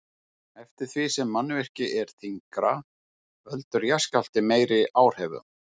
Eftir því sem mannvirki er þyngra veldur jarðskjálfti meiri áhrifum.